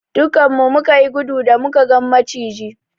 Duƙƙan mu muka yi gudu da muka gan macijin.